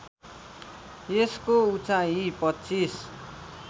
यसको उचाइ २५